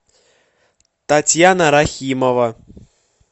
татьяна рахимова